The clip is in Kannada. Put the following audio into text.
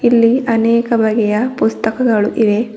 ಇಲ್ಲಿ ಅನೇಕ ಬಗೆಯ ಪುಸ್ತಕಗಳು ಇವೆ.